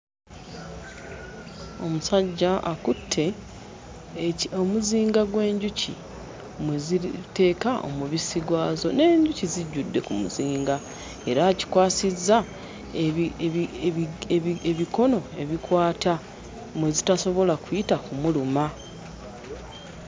Omusajja akutte eki omuzinga gw'enjuki mwe ziriteeka omubisi gwazo n'enjuki zijjudde ku muzinga era akikwasizza ebi ebi ebigi ebi ebigi ebikono ebikwata mwe zitasobola kuyita kumuluma.